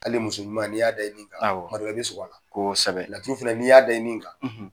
Ali muso ɲuman n'i y'a da i nin kan, awɔ, tuma dɔw la, i bɛ siko a la, kosɛbɛ, laturu fana n'i y'a da i nin kan,